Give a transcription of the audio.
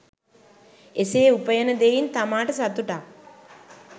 එසේ උපයන දෙයින් තමාට සතුටක්